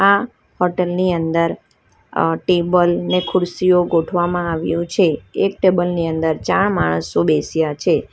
આ હોટલ ની અંદર અં ટેબલ ને ખુરશીઓ ગોઠવામાં આવ્યું છે એક ટેબલ ની અંદર ચાર માણસો બેસ્યા છે.